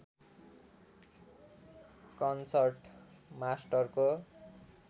concert मास्टरको